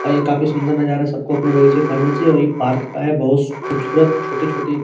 और ये काफी सूंदर नज़ारा है सबको अपने बगीचे में पानी देनी चाहिए और ये पार्क का है बहुत खूबसूरत छोटे-छोटे --